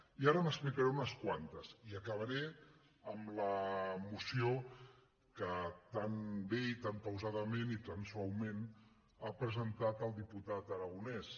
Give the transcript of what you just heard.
i ara n’explicaré unes quantes i acabaré amb la moció que tan bé i tan pausadament i tan suaument ha presentat el diputat aragonès